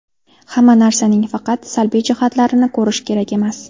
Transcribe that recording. Hamma narsaning faqat salbiy jihatlarini ko‘rish kerak emas.